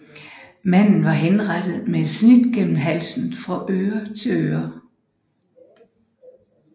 Manden var henrettet med et snit gennem halsen fra øre til øre